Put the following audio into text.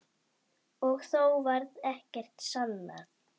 Og þó varð ekkert sannað.